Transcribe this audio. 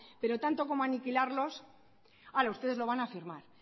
pero tanto como aniquilarlos ahora ustedes lo van a afirmar